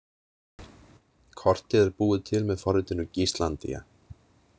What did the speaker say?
Kortið er búið til með forritinu Gislandia.